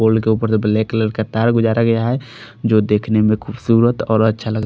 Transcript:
पोल के ऊपर से ब्लैक कलर का तार गुजरा गया है जो देखने में खुबसूरत और अच्छा लग--